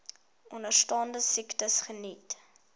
onderstaande siektes geniet